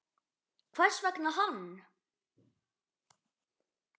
Hvers vegna hann?